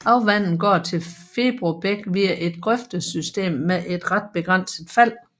Afvandingen går til Febro bæk via et grøftesystem med ret begrænset fald